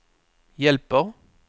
hjälper